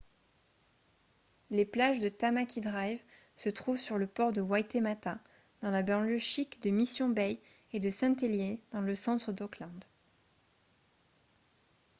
les plages de tamaki drive se trouvent sur le port de waitemata dans la banlieue chic de mission bay et de saint heliers dans le centre d'auckland